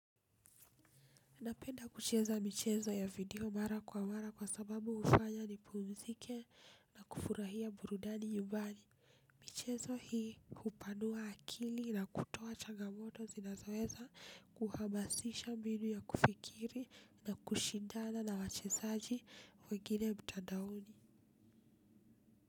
Napenda kucheza michezo ya video mara kwa mara kwasababu hufanya nipumzike na kufurahia burudani nyumbani. Michezo hii hupanua akili na kutoa changamoto zinazoweza kuhamasisha mbinu ya kufikiri na kushindana na wachezaji wengine mtandaoni.